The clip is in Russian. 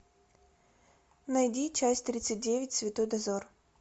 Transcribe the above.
найди часть тридцать девять святой дозор